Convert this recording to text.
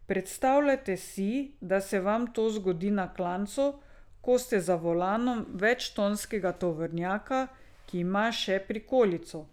Predstavljajte si, da se vam to zgodi na klancu, ko ste za volanom večtonskega tovornjaka, ki ima še prikolico.